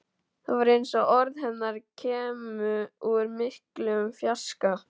Það var eins og orð hennar kæmu úr miklum fjarska.